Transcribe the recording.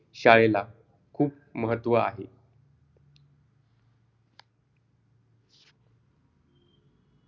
पट पट या सारख्या शब्दा सारखे लिहा कवितेत आलेले इंग्रजी शब्द सोडून लिहा. व्याकरण व पुढील शब्दाचे विशेषण नामें लिहा. गोड गोळी पटे यान खुले गाढ ये पुदी विशेषण आहे नावे लिहा